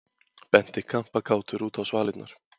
Benti kampakátur út á svalirnar.